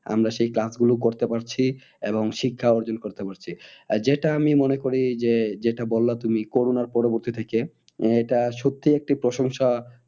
আমরা সেই class গুলো করতে পারছি এবং শিক্ষা অর্জন করতে পারছি। আর যেটা আমি মনে করি যে যেটা বললে তুমি করোনার পরবর্তী থেকে আহ এটা সত্যি একটি প্রশংসা